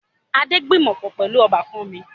Adé gbìmọ̀pọ̀ pẹlu ọbákan mi